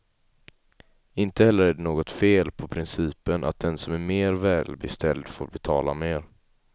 Inte heller är det något fel på principen att den som är mer välbeställd får betala mer.